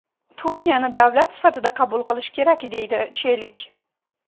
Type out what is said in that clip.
Turkiyani davlat sifatida qabul qilish kerak!”, deydi Chelik.